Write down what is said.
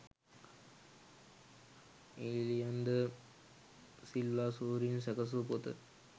ඊලියන් ද සිල්වා සූරීන් සැකැසූ පොත